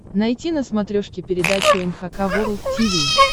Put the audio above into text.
найти на смотрешке передачу эн эйч кей волд ти ви